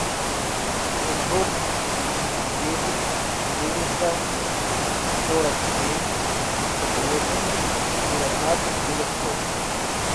шестьсот десять четыреста сорок семь тридцать восемь девятнадцать девятьсот